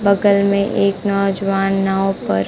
बगल में एक नौजवान नाव पर--